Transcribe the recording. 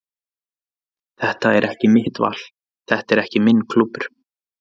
Þetta er ekki mitt val, þetta er ekki minn klúbbur.